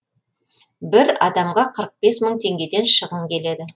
бір адамға қырық бес мың теңгеден шығын келеді